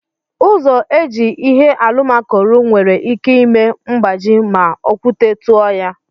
Ụzọ eji ihe alụmako rụọ nwere ike ime mgbaji ma okwute tụọ ya..